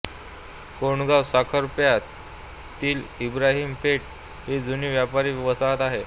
कोंडगावसाखरप्यातील इब्राहिम पेठ ही जुनी व्यापारी वसाहत आहे